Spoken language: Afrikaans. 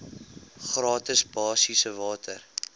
gratis basiese water